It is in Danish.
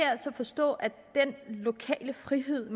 så forstå at den frihed